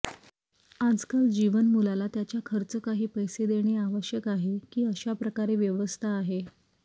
आजकाल जीवन मुलाला त्याच्या खर्च काही पैसे देणे आवश्यक आहे की अशा प्रकारे व्यवस्था आहे